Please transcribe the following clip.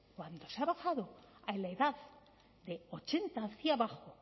cuando se ha bajado a la edad de ochenta hacia abajo